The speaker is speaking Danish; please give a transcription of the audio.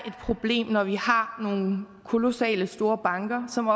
problem når vi har nogle kolossale store banker som